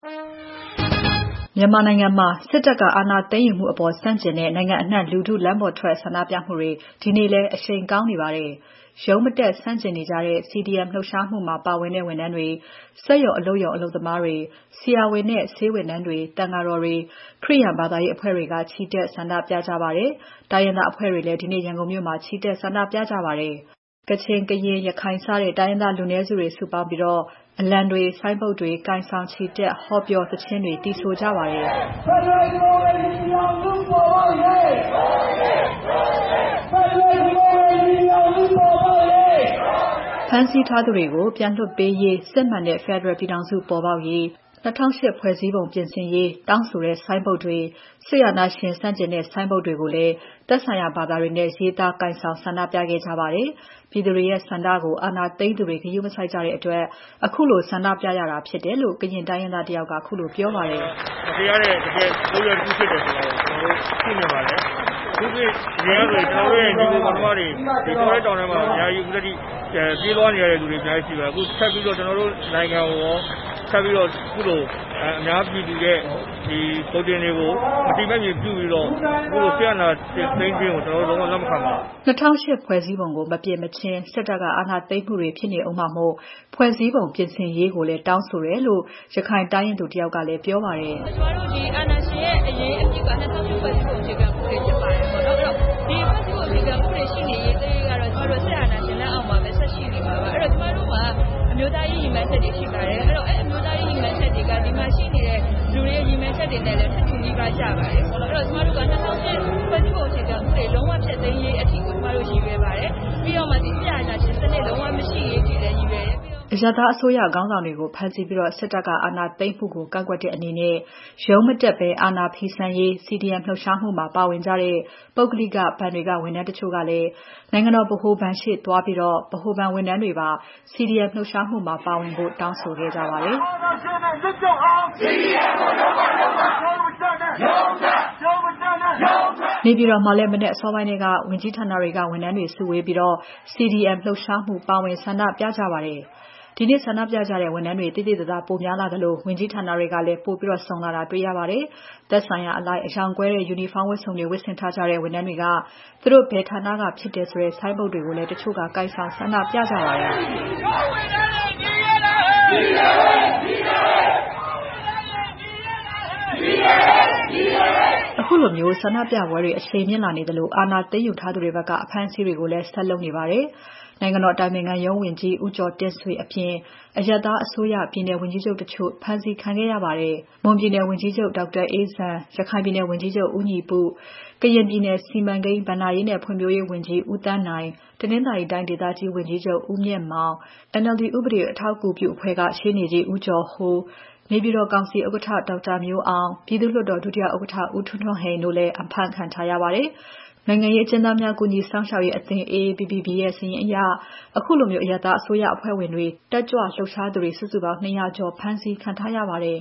မြန်မာနိုင်ငံမှာ စစ်တပ်က အာဏာသိမ်းယူမှုအပေါ် ဆန့်ကျင်တဲ့ နိုင်ငံအနှံ့ လူထု လမ်းပေါ်ထွက် ဆန္ဒပြမှုတွေ ဒီနေ့လည်း အရှိန်ကောင်းနေပါတယ်။ ရုံးမတက် ဆန့်ကျင်နေကြတဲ့ CDM လှုပ်ရှားမှုမှာ ပါဝင်ကြတဲ့ ဝန်ထမ်းတွေ၊ စက်ရုံ အလုပ်ရုံ အလုပ်သမားတွေ၊ ဆရာဝန်နဲ့ ဆေးဝန်ထမ်းတွေ၊ သံဃာတော်တွေ၊ ခရစ်ယာန်ဘာသာရေးအဖွဲ့တွေ ချီတက်ဆန္ဒပြကြပါတယ်။ တိုင်းရင်းသားအဖွဲ့တွေလည်း ဒီနေ့ ရန်ကုန်မြို့မှာ ချီတက် ဆန္ဒပြကြပါတယ်။ ကရင်၊ ကချင်၊ ရခိုင် စတဲ့ တိုင်းရင်းသားလူနည်းစုတွေ စုပေါင်းပြီး အလံတွေ၊ ဆိုင်းပုဒ်တွေ ကိုင်ဆောင် ချီတက်၊ ဟောပြော၊ သီချင်းတွေ သီဆိုခဲ့ကြပါတယ်။ "ဖက်ဒရယ်ပြည်ထောင်စုပေါ်ပေါက်ရေး ၊ ဒို့အရေး ဒို့အရေး" ဖမ်းဆီးထားသူတွေကို ပြန်လွှတ်ပေးရေး စစ်မှန်တဲ့ ဖက်ဒရယ်ပြည်ထောင်စုပေါ်ပေါက်ရေး၊ ၂၀၀၈ ဖွဲ့စည်းပုံပြင်ဆင်ရေးတောင်းဆိုတဲ့ ဆိုင်းပုဒ်တွေ၊ စစ်အာဏာရှင် ဆန့်ကျင်တဲ့ ဆိုင်းပုဒ်တွေကို သက်ဆိုင်ရာ ဘာသာတွေနဲ့ရေးသားကိုင်ဆောင် ဆန္ဒပြကြပါတယ်။ ပြည်သူတွေရဲ့ဆန္ဒကို အာဏာသိမ်းသူတွေ ဂရုမစိုက်ကြတဲ့အတွက် ခုလိုဆန္ဒပြရတာဖြစ်တယ်လို့ ကရင်တိုင်းရင်းသားတယောက်က ခုလိုပြောပါတယ်။ "မတရားတဲ့လုပ်ရပ်တခုဖြစ်တယ်ဆိုတာကို ကျနော်တို့ တွေ့နိုင်ပါတယ်။ ကျနော်တို့ရဲ့ ညီအကိုမောင်နှမတွေ တောထဲတောင်ထဲမှာ ပြေးလွှားနေရတာအများကြီးရှိပါတယ်။ ထပ်ပြီးတော့ ကျနော်တို့နိုင်ငံကိုကော အများပြည်သူတွေရဲ့ မဲဆန္ဒတွေကို မထေမဲ့မြင်ပြုတာကို ကျနော်တို့လက်မခံပါဘူး။ " ၂၀၀၈ ဖွဲ့စည်းပုံကို မပြင်မချင်း စစ်တပ်က အာဏာသိမ်းမှုတွေ ဖြစ်နေဦးမှာမို့ ဖွဲ့စည်းပုံပြင်ဆင်ရေးကိုလည်း တောင်းဆိုတယ်လို့ ရခိုင်တိုင်းရင်းသူတယောက် ကလည်း ပြောပါတယ်။ "ကျမတို့အာဏာရှင်ရဲ့ အရေးကြီးတာက ၂ဝဝ၈ ဖွဲ့စည်းပုံအခြေခံဥပဒေဖြစ်ပါတယ်။ ဒီဖွဲ့စည်းပုံရှိနေသမျှ ကျမတို့စစ်အာဏာရှင်အောက်မှာပဲရှိနေမှာပါ။ ကျမတို့ဟာ အမျိုးသားရေးရည်မှန်းချက်တွေရှိပါတယ်။ အဲအမျိုးသားရေးရည်မှန်းချက်တွေက ဒီမှာရှိနေတဲ့သူတွေရဲ့ ရည်မှန်းချက်တွေနဲ့လည်း ထပ်တူကျပါတယ်။ ၂ဝဝ၈ ဖွဲ့စည်းပုံလုံးဝဖျက်သိမ်းရေးအထိရည်ရွယ်ပါတယ်။ပြီးတော့ စစ်အာဏာရှင်စနစ် လုံးဝမရှိရေးလည်းရည်ရွယ်ပါတယ်။" အရပ်သားအစိုးရခေါင်းဆောင်တွေကို ဖမ်းဆီးပြီး စစ်တပ်က အာဏာသိမ်းမှုကို ကန့်ကွက်ပြီး ရုံးမတက်ဘဲ အာဏာဖီဆန်ရေး CDM လှုပ်ရှားမှုမှာ ပါဝင်ကြတဲ့ ပုဂ္ဂလိကဘဏ်တွေက ဝန်ထမ်းတချို့ကလည်း နိုင်ငံတော် ဗဟိုဘဏ်ရှေ့သွားပြီး ဗဟိုဘဏ်ဝန်ထမ်းတွေပါ CDM လှုပ်ရှားမှုမှာ ပါဝင်ဖို့ တောင်းဆိုခဲ့ကြပါတယ်။ "အာဏာရှင်တွေအမြှစ်ပြုတ်အောင် CDM ကို လုပ်ကြလုပ်ကြ ။ ရုံးမတက်နဲ့ ရုန်းထွက်" နေပြည်တော်မှာလည်း မနက်အစောပိုင်းထဲက ဝန်ကြီးဌာနတွေက ဝန်ထမ်းတွေ စုဝေးပြီး CDM လှုပ်ရှားမှုမှာ ပါဝင် ဆန္ဒပြကြပါတယ်။ ဒီနေ့ ဆန္ဒပြကြတဲ့ ဝန်ထမ်းတွေ သိသိသာသာ ပိုများလာသလို ဝန်ကြီးဌာနတွေလည်း ပိုပြီးစုံတာတွေ့ရပါတယ်။ ဌာနဆိုင်ရာအလိုက် အရောင်ကွဲတဲ့ ယူနီဖောင်းဝတ်စုံတွေ ဝတ်ဆင်ထားကြတဲ့ ဝန်ထမ်းတွေက သူတို့ဘယ်ဌာနကဖြစ်တယ်ဆိုတဲ့ ဆိုင်းပုဒ်တွေကိုလည်း တချို့ ကိုင်ဆောင်ဆန္ဒပြကြပါတယ်။ "တို့ဝန်ထမ်းတွေ ညီရဲ့လားဟေ့ ၊ ညီတယ်ဟေ့ ညီတယ်ဟေ့" ခုလို ဆန္ဒပြပွဲတွေ အရှိန်မြင့်လာနေသလို အာဏာသိမ်းယူထားသူတွေဖက်က အဖမ်းအဆီးတွေကိုလည်း ဆက်လုပ်နေပါတယ်။ နိုင်ငံတော်အတိုင်ပင်ခံရုံးဝန်ကြီး ဦးကျော်တင့်ဆွေအပြင် အရပ်သားအစိုးရ ပြည်နယ်ဝန်ကြီးချုပ်တချို့ ဖမ်းဆီးခံခဲ့ရပါတယ်။ မွန်ပြည်နယ်ဝန်ကြီးချုပ် ဒေါက်တာအေးဇံ၊ ရခိုင်ပြည်နယ်ဝန်ကြီးချုပ် ဦးညီပု၊ ကရင်ပြည်နယ် စီမံကိန်း၊ ဘဏ္ဍာရေးနဲ့ ဖွံ့ဖြိုးရေးဝန်ကြီး ဦးသန်းနိုင်၊ တနင်္သာရီတိုင်းဒေသကြီး ဝန်ကြီးချုပ် ဦးမြင့်မောင်၊ NLD ဥပဒေ အထောက်အကူပြုအဖွဲ့က ရှေ့နေကြီး ဦးကျော်ဟိုး၊ နေပြည်တော်ကောင်စီဥက္ကဋ္ဌ ဒေါက်တာမျိုးအောင်၊ ပြည်သူ့လွှတ်တော် ဒုတိယ ဥက္ကဋ္ဌ ဦးထွန်းထွန်းဟိန် တို့လည်း အဖမ်းခံထားရပါတယ်။ နိုင်ငံရေးအကျဉ်းသားများ ကူညီစောင့်ရှောက်ရေးအသင်းရဲ့ စာရင်းအရ ခုချိန်ထိဆိုရင် အရပ်သားအစိုးရအဖွဲ့ဝင်တွေ၊ တက်ကြွလှုပ်ရှားသူတွေ စုစုပေါင်း ၂၀၀ ကျော် ဖမ်းဆီးခံထားရပါတယ်